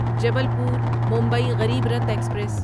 Jabalpur Mumbai Garibrath express